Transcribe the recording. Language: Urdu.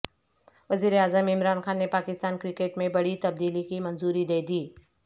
وزیراعظم عمران خان نے پاکستان کرکٹ میں بڑی تبدیلی کی منظوری دے دی